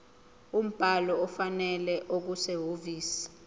umbhalo ofanele okusehhovisi